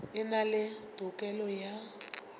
e na le tokelo ya